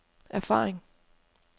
erfaring